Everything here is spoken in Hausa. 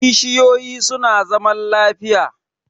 Kishiyoyi su na zaman lafiya